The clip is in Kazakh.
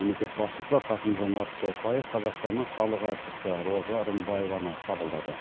мемлекет басшысы қасым жомарт тоқаев қазақстанның халық әртісі роза рымбаеваны қабылдады